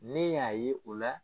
Ne y'a ye o la.